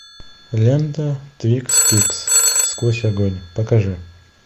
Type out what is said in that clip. лента твин пикс сквозь огонь покажи